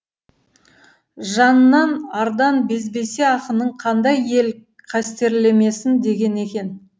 жаннан ардан безбесе ақынын қандай ел қастерлемесін деген екен